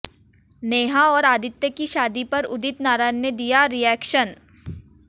नेहा और आदित्य की शादी पर उदित नारायण ने दिया रिएक्शन